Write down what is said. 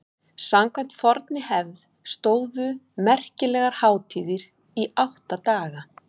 samkvæmt fornri hefð stóðu merkilegar hátíðir í átta daga